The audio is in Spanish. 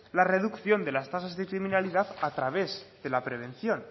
la reducción de las tasas de criminalidad a través de la prevención